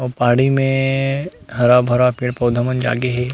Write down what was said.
और बाड़ी में हरा-भरा पेड़-पौधा मन जागे हे।